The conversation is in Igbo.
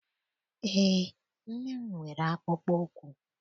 EÉ, nne m nwere akpụkpọụkwụ.